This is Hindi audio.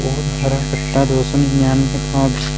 और हरा कट्टा दो सौ निन्यानवें --